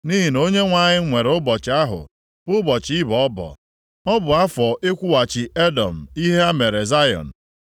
Nʼihi na Onyenwe anyị nwere ụbọchị ahụ bụ ụbọchị ịbọ ọbọ. Ọ bụ afọ ịkwụghachi Edọm ihe ha mere Zayọn.